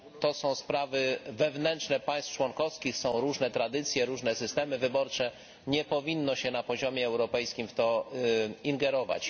To są sprawy wewnętrzne państw członkowskich, są różne tradycje, różne systemy wyborcze, nie powinno się na poziomie europejskim w to ingerować.